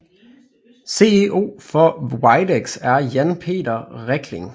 CEO for Widex er Jan Peter Rekling